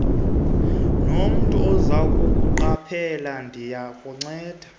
nomntu ozakuqaphela ndiyakucela